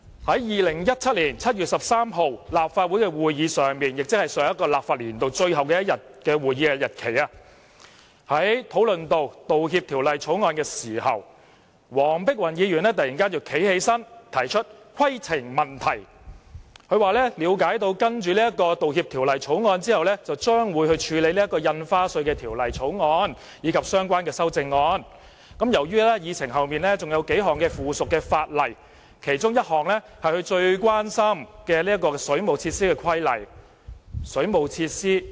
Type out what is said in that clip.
在2017年7月13日的立法會會議，即上一個立法年度最後一天的會議上，當討論到《道歉條例草案》時，黃碧雲議員突然站起來提出規程問題，說她了解到審議《道歉條例草案》後將會處理《條例草案》及相關修正案；由於議程上還有數項附屬法例排在《條例草案》之後，而其中一項是與她最關心的水務設施有關的規例——水務設施？